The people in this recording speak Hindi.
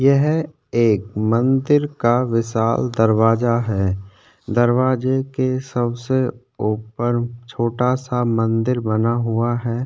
यह एक मंदिर का विशाल दरवाजा है दरवाजे के सबसे ऊपर छोटा सा मंदिर बना हुआ है।